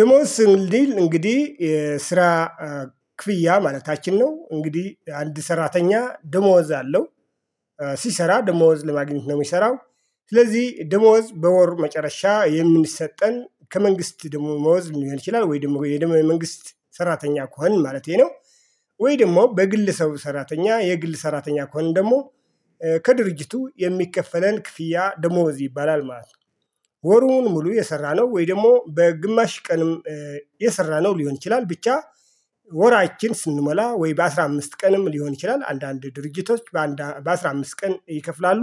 ደሞዝ ስንል እንግዲህ ስራ ክፍያ ማለታችን ነው እንግዲህ አንድ ሰራተኛ ደሞዝ አለው። ሲሰራ ደሞዝ ለማግኘት ነው የሚሰራው። ስለዚህ ደሞዝ በወር መጨረሻ የሚሰጠን ከመንግስት ደሞዝ ሊሆን ይችላል ወይ ደግሞ የመንግስት ሰራተኛ ከሆን ማለቴ ነው። ወይ ደግሞ በግል ሰው ሰራተኛ የግል ሰራተኛ ከሆን ደግሞ ከድርጅቱ የሚከፈለን ክፍያ ደሞዝ ይባላል ማለት ነው። ወሩን ሙሉ የሰራነው ወይ ደግሞ በግማሽ ቀንም የሰራነው ሊሆን ይችላል ብቻ ወራችን ስንሞላ ወይ በአስራ አምስት ቀንም ሊሆን ይችላል አንዳንድ ድርጅቶች በአስራ አምስት ቀን ይከፍላሉ።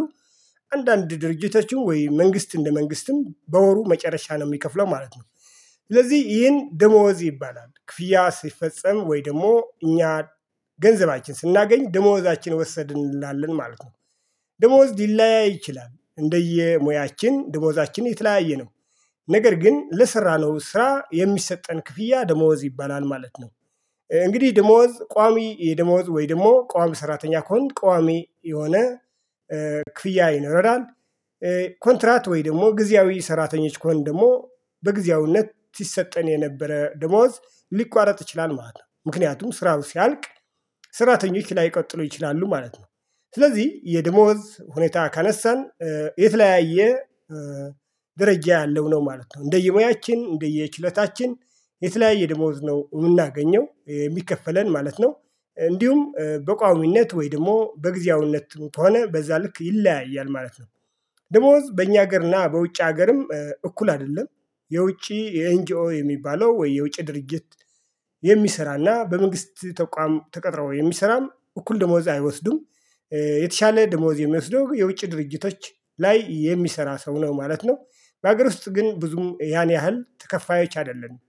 አንዳንድ ድርጅቶችም ወይ መንግስት እንደ መንግስትም በወሩ መጨረሻ ነው የሚከፍለው ማለት ነው። ስለዚህ ይሄን ደሞዝ ይባላል ክፍያ ሲፈጸም ወይ ደግሞ እኛ ገንዘባችን ስናገኝ ደሞዛችን ወሰድን እንላለን ማለት ነው። ደሞዝ ሊለያይ ይችላል እንደየሙያችን ደሞዛችን የተለያየ ነው። ነገር ግን ለሰራነው ስራ የሚሰጠን ክፍያ ደሞዝ ይባላል ማለት ነው። እንግዲህ ደሞዝ ቋሚ የደሞዝ ወይ ደግሞ ቋሚ ሰራተኛ ከሆንክ ቋሚ የሆነ ክፍያ ይኖራል። ኮንትራት ወይ ደግሞ ጊዜያዊ ሰራተኞች ከሆንን ደግሞ በጊዜያዊነት ሲሰጠን የነበረ ደሞዝ ሊቋረጥ ይችላል ማለት ነው ነው ምክንያቱም ስራው ሲያልቅ። ስራተኞች ላይቀጥሉ ይችላሉ ማለት ነው። ስለዚህ የደሞዝ ሁኔታ ካነሳን። የተለያየ ደረጃ ያለው ነው ማለት ነው እንደየሞያችን እንደየ ችሎታችን የተለያየ ደሞዝ ነው የምናገኘው የሚከፈለን ማለት ነው። እንዲሁም በቋሚነት ወይ ደግሞ በጊዜያዊነት ከሆነ በዛ ልክ ይለያያል ማለት ነው። ደሞዝ በእኛ ሀገርና በውጭ ሀገርም እኩል አይደለም። የውጪ ኤንጅኦ የሚባለው ወይ የውጪ ድርጅት። የሚሰራና በመንግስት ተቋም ተቀጥረው የሚሰራም እኩል ደሞዝ አይወስዱም። የተሻለ ደሞዝ የሚወስደው የውጭ ድርጅቶች ላይ የሚሰራ ሰው ነው ማለት ነው። በሀገር ውስጥ ግን ብዙም ያን ያህል ተከፋዮች አይደለንም።